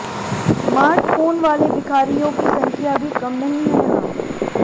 smart phone वाले भिखारियों की संख्या भी कम नहीं है यहां